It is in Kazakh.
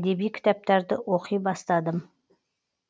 әдеби кітаптарды оқи бастадым